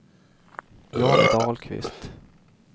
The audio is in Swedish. John Dahlqvist